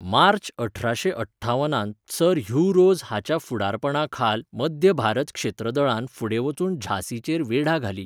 मार्च अठराशे अठ्ठावनांत sir Hugh Rose हाच्या फुडारपणाखाल मध्य भारत क्षेत्रदळान फुडें वचून झांसीचेर वेढा घाली.